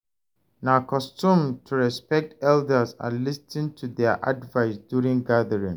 Na custom to respect elders and lis ten to their advice during gathering.